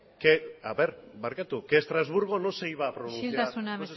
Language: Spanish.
que haber barkatu que estrasburgo no se iba a pronunciar isiltasuna